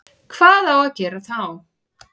Hvað á að gera þá?